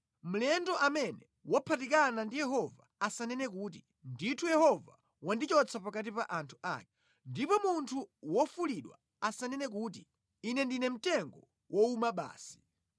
Mlendo amene waphatikana ndi Yehova asanene kuti, “Ndithu Yehova wandichotsa pakati pa anthu ake.” Ndipo munthu wofulidwa asanene kuti, “Ine ndine mtengo wowuma basi.”